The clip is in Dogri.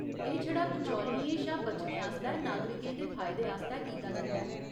एह् छड़ा बिचौलियें शा बचने आस्तै नागरिकें दे फायदे आस्तै कीता जंदा ऐ।